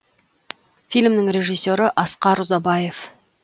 фильмнің режиссері асқар ұзабаев